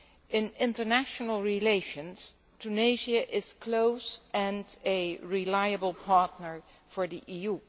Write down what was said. In international relations, Tunisia is close and a reliable partner for the EU.